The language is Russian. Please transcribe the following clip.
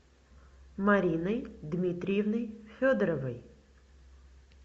мариной дмитриевной федоровой